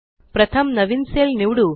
प्रथम नवीन सेल निवडू